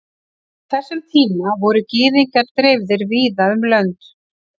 á þessum tíma voru gyðingar dreifðir víða um lönd